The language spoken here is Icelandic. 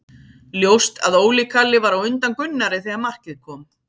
Ljóst að Óli Kalli var á undan Gunnari þegar markið kom.